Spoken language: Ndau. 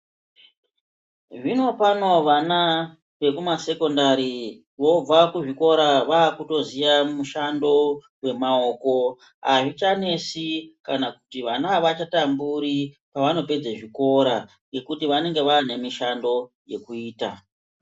Zvinopano vana vekumasekendari vobva kuzvikora vakutoziya mushando wemaoko azvichanesi kana kuti vana avachatamburi pavanopedze zvikora nekiti vanenge vane mishando yekuita.